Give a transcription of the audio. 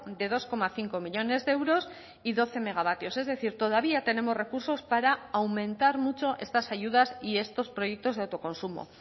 de dos coma cinco millónes de euros y doce megawatios es decir todavía tenemos recursos para aumentar mucho estas ayudas y estos proyectos de autoconsumo